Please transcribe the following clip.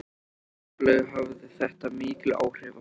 Óskaplega hafði þetta mikil áhrif á mig.